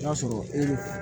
I b'a sɔrɔ e